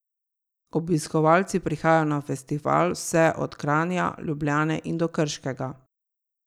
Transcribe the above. Obiskovalci prihajajo na festival vse od Kranja, Ljubljane in do Krškega.